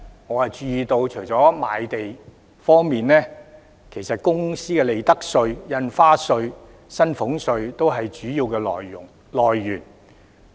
我注意到，除了賣地外，其實公司的利得稅、印花稅及薪俸稅，都是主要來源。